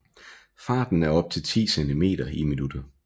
Farten er op til 10 centimeter i minuttet